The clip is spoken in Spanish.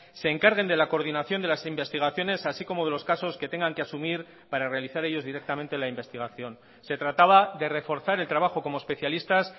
se encarguen de la coordinación de las investigaciones así como de los casos que tengan que asumir para realizar ellos directamente la investigación se trataba de reforzar el trabajo como especialistas